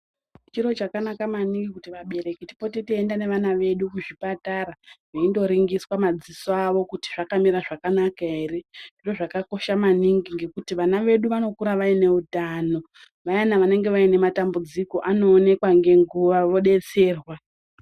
Chiro chakanaka maningi kuti vabereki tipote teienda nevana vedu kuzvipatara veindoringiswa madziso avo kuti akamira zvakanaka ere. Zviro zvakakosha maningi ngekuti vana vedu vanokura vaine utano vayana vanenge vaine matambudziko vanoonekwa ngenguva vobetserwa.